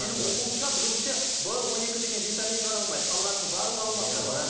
менің оқуымша білуімше в он екі деген витамин ғана алмайды қалғанының барлығы алмастырылады